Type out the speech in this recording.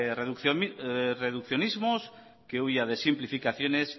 reduccionismos que huya de simplificaciones